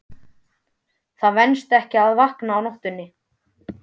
Það venst ekki að vakna á nóttunni.